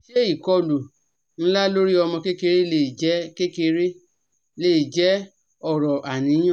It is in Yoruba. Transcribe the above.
Ṣé ìkọlù ńlá lórí ọmọ kékeré lè jẹ́ kékeré lè jẹ́ ọ̀rọ̀ àníyàn?